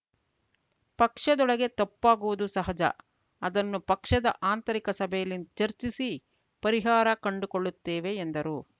ಪಕ್ಷದೊಳಗೆ ತಪ್ಪಾಗುವುದು ಸಹಜ ಅದನ್ನು ಪಕ್ಷದ ಆಂತರಿಕ ಸಭೆಯಲ್ಲಿ ಚರ್ಚಿಸಿ ಪರಿಹಾರ ಕಂಡುಕೊಳ್ಳುತ್ತೇವೆ ಎಂದರು